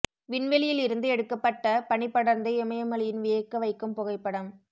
விண்வெளியில் இருந்து எடுக்கப்பட்ட பனி படர்ந்த இமயமலையின் வியக்க வைக்கும் புகைப்படம்